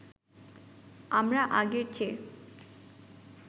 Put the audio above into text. আমরা আগের চেয়ে